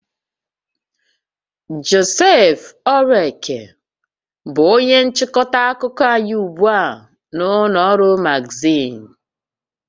Joseph Oraeke bụ onye nchịkọta akụkọ anyị ugbu a na ụlọ ọrụ magazịn